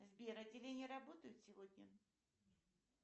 сбер отделения работают сегодня